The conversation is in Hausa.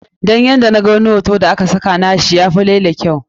Dan ni a yadda na ga wani hoto da a ka saka wai na shi, naga ya fi laila kyau.